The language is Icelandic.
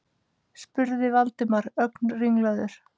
spurði Valdimar, ögn ringlaður.